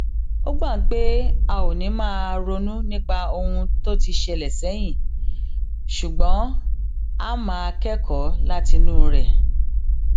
a gbà pé a ò ní máa ronú nípa ohun tó ti ṣẹlè sẹyìn ṣùgbón a máa kékòó látinú rè